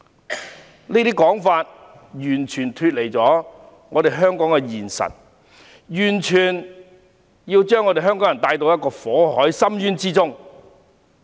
他們這種說法完全脫離香港的現實，完全是要把香港人帶往火海深淵之中。